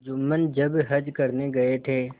जुम्मन जब हज करने गये थे